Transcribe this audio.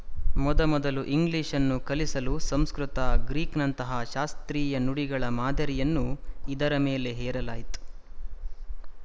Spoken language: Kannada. ಮೊದಮೊದಲು ಇಂಗ್ಲಿಶ್‌ನ್ನು ಕಲಿಸಲು ಸಂಸ್ಕೃತ ಗ್ರೀಕ್‍ನಂತಹ ಶಾಸ್ತ್ರೀಯ ನುಡಿಗಳ ಮಾದರಿಯನ್ನು ಇದರ ಮೇಲೆ ಹೇರಲಾಯ್ತು